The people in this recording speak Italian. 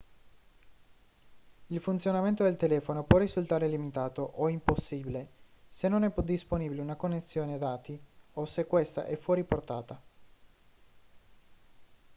il funzionamento del telefono può risultare limitato o impossibile se non è disponibile una connessione dati o se questa è fuori portata